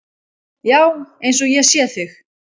Já, eins og ég sé þig.